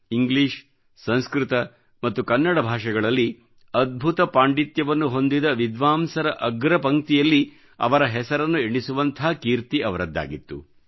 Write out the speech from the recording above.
English ಸಂಸ್ಕೃತಮತ್ತು ಕನ್ನಡ ಭಾಷೆಗಳಲ್ಲಿ ಅದ್ಭುತ ಪಾಂಡಿತ್ಯವನ್ನು ಹೊಂದಿದ ವಿದ್ವಾಂಸರ ಅಗ್ರಪಂಕ್ತಿಯಲ್ಲಿ ಅವರ ಹೆಸರನ್ನು ಎಣಿಸುವಂಥ ಕೀರ್ತಿ ಅವರದ್ದಾಗಿತ್ತು